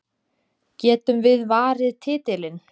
Getum við varið titilinn?